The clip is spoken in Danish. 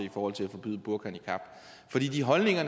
i forhold til at forbyde burka og niqab for de holdninger